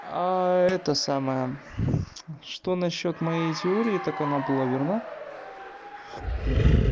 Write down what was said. а это самое что на счёт моей теории так она была верна